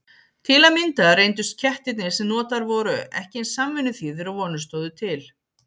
Til að mynda reyndust kettirnir sem notaðir voru ekki eins samvinnuþýðir og vonir stóðu til.